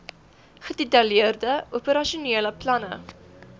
gedetailleerde operasionele planne